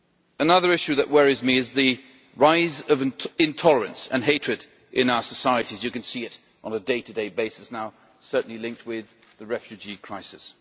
Another issue that worries me is the rise of intolerance and hatred in our societies you can see it on a day to day basis now, certainly linked with the refugee crisis.